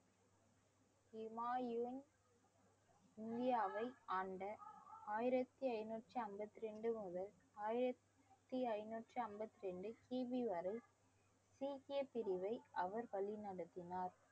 ஹிமாயுன் இந்தியாவை ஆண்ட ஆயிரத்தி ஐந்நூத்தி ஐம்பத்தி ரெண்டு முதல் ஆயிரத்தி ஐந்நூத்தி ஐம்பத்தி ரெண்டு கி. பி வரை சீக்கிய பிரிவை அவர் வழி நடத்தினார்